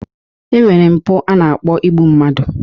E nwere mpụ a na-akpọ igbu mmadu.